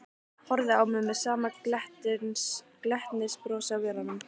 Horfði á mig með sama glettnisbrosið á vörunum.